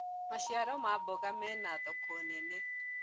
maciaro ma mboga mena thoko nene